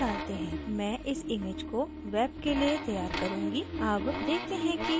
मैं इस image को web के लिए तैयार करुँगी